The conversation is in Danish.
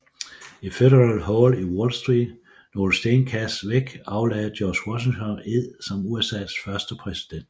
I Federal Hall i Wall Street nogle stenkast væk aflagde George Washington ed som USAs første præsident